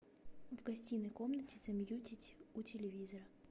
в гостиной комнате замьютить у телевизора